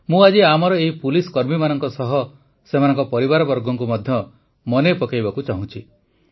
ମୁଁ ଆଜି ଆମର ଏହି ପୁଲିସକର୍ମୀମାନଙ୍କ ସହ ସେମାନଙ୍କ ପରିବାରବର୍ଗଙ୍କୁ ମଧ୍ୟ ମନେ ପକାଇବାକୁ ଚାହୁଁଛି